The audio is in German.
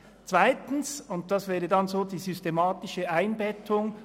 Der zweite Punkt zeigt dann die systematische Einbettung: